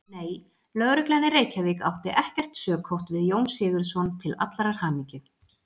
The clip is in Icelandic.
Nei, Lögreglan í Reykjavík átti ekkert sökótt við Jón Sigurðsson til allrar hamingju.